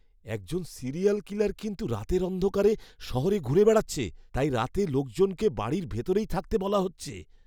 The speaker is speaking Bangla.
একজন সিরিয়াল কিলার কিন্তু রাতের অন্ধকার শহরে ঘুরে বেড়াচ্ছে। তাই রাতে লোকজনকে বাড়ির ভিতরেই থাকতে বলা হচ্ছে।